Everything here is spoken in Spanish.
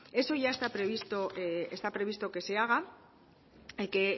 eso ya está previsto que se haga